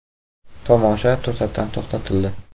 Tomosha to‘satdan to‘xtatildi.